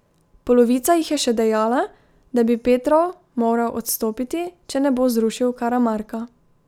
Polovica jih je še dejala, da bi Petrov moral odstopiti, če ne bo zrušil Karamarka.